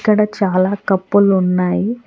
అక్కడ చాలా కప్పు లు ఉన్నాయి.